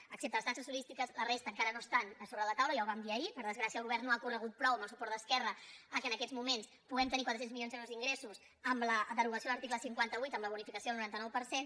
excepte les taxes turístiques la resta enca·ra no estan sobre la taula ja ho vam dir ahir per des·gràcia el govern no ha corregut prou amb el suport d’esquerra perquè en aquests moments puguem tenir quatre cents milions d’euros d’ingressos amb la derogació de l’article cinquanta vuit amb la bonificació del noranta nou per cent